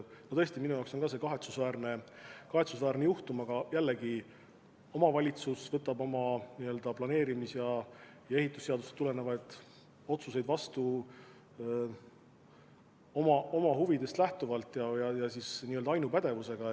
Tõesti, ka minu arvates on see kahetsusväärne juhtum, aga omavalitsus võtab planeerimis- ja ehitusseadusest tulenevalt otsuseid vastu oma huvidest lähtuvalt ja ainupädevusega.